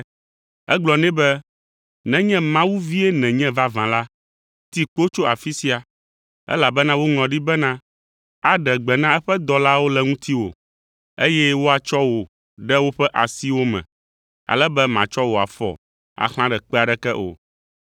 Egblɔ nɛ be, “Nenye Mawu vie nènye vavã la, ti kpo tso afi sia. Elabena woŋlɔ ɖi bena: “ ‘Aɖe gbe na eƒe dɔlawo le ŋutiwò, eye woatsɔ wò ɖe woƒe asiwo me ale be màtsɔ wò afɔ axlã ɖe kpe aɖeke o.’ ”